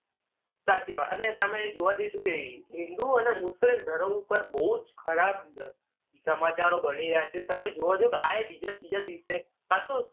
સાચી વાત. અને તમે જોઆ જઈશું કે હિન્દુ અને મુસ્લિમ ધર્મ ઉપર બઉ જ ખરાબ અ સમાચારો બની રહ્યા છે. તમે જોવા જાઓ તો આયે બીજા ત્રીજા દિવસે પાછું